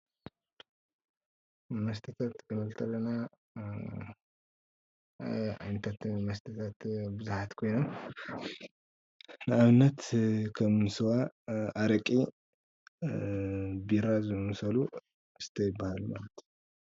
መስተታት ክንብል ከለና ኣኣ ዓይነታት መስተታት ቡዙሓት ኮይኖም ንኣብነት ከም ስዋ፣ ኣረቂን ቢራን ዝኣመሰሉ መስተ ይባሃሉ ማለት እዩ፡፡